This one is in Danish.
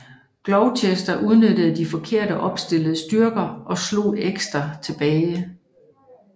Gloucester udnyttede de forkert opstillede styrker og slog Exeter tilbage